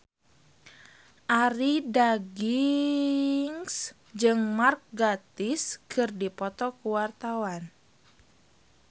Arie Daginks jeung Mark Gatiss keur dipoto ku wartawan